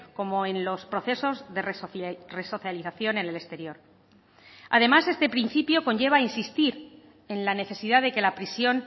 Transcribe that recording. como en los procesos de resocialización en el exterior además este principio conlleva a insistir en la necesidad de que la prisión